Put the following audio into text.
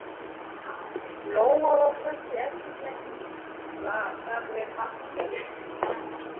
Lóa var föst í endurtekningasamri martröð.